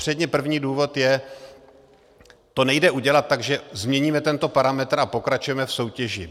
Předně, první důvod je, to nejde udělat tak, že změníme tento parametr a pokračujeme v soutěži.